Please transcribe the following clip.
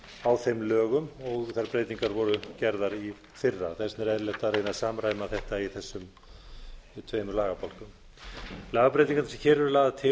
á þeim lögum og þær breytingar voru gerðar í fyrra þess vegna er eðlilegt að reyna að samræma þetta í þessum tveimur lagabálkum lagabreytingarnar sem hér eru lagðar til eru